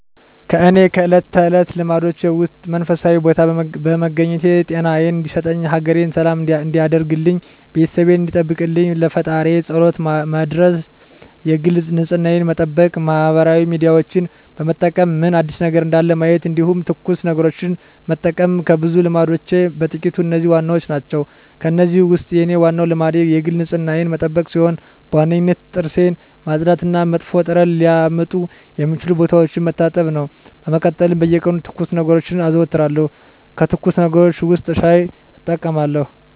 የእኔ ከእለት ተለት ልማዶቼ ውስጥ መንፈሳዊ ቦታ በመገኘት ጤናየን እንዲሰጠኝ፣ ሀገሬን ሰላም እንዲያደርግልኝ፣ ቤተሰቤን እንዲጠብቅልኝ ለፈጣሪየ ፀሎት መድረስ የግል ንፅህናየን መጠበቅ ማህበራዊ ሚዲያዎችን በመጠቀም ምን አዲስ ነገር እንዳለ ማየት እንዲሁም ትኩስ ነገሮችን መጠቀም ከብዙ ልማዶቼ በጥቂቱ እነዚህ ዋናዎቹ ናቸው። ከእነዚህ ውስጥ የኔ ዋናው ልማዴ የግል ንፅህናዬን መጠበቅ ሲሆን በዋነኝነት ጥርሴን ማፅዳት እና መጥፎ ጠረን ሊያመጡ የሚችሉ ቦታዎችን መታጠብ ነው። በመቀጠል በየቀኑ ትኩስ ነገሮችን አዘወትራለሁ ከትኩስ ነገሮች ውስጥ ሻይ እጠቀማለሁ።